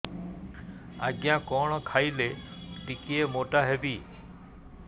ଆଜ୍ଞା କଣ୍ ଖାଇଲେ ଟିକିଏ ମୋଟା ହେବି